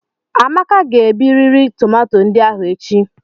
Amaka ga-ebiriri tomato ndị ahụ echi.